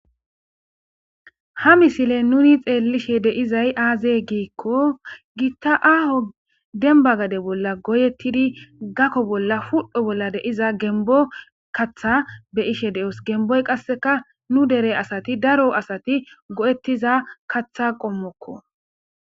ha misile nuni xeellishe deizay aaze giikko giitta aaho denba gade bolla goyettidi gakko bolla ful7o bolla deiza gembo katha be ishe de7os gemboy qasseka nu dere asati daro asati go7ettiza katha qommokko